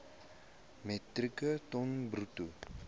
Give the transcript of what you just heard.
metrieke ton bruto